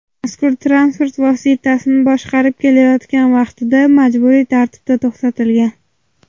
mazkur transport vositasini boshqarib ketayotgan vaqtida majburiy tartibda to‘xtatilgan.